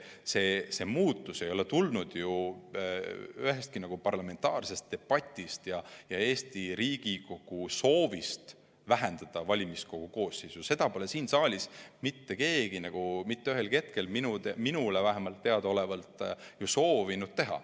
See muutus ei ole tulnud ühestki parlamentaarsest debatist või Riigikogu soovist vähendada valimiskogu koosseisu, seda pole siin saalis mitte keegi mitte ühelgi hetkel, vähemalt minule teadaolevalt, ju soovinud teha.